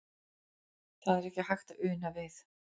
Það er ekki hægt að una við.